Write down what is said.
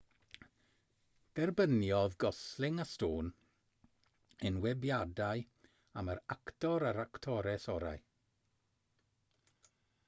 derbyniodd gosling a stone enwebiadau am yr actor a'r actores orau